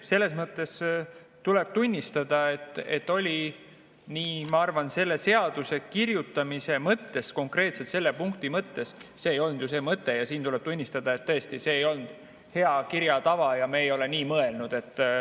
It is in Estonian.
No tõesti tuleb tunnistada, et, ma arvan, selle seaduse kirjutamisel, konkreetselt selle punkti see ei olnud ju see mõte ja siin tuleb tunnistada, et tõesti, see ei ole hea kirjatava ja me ei ole nii mõelnud.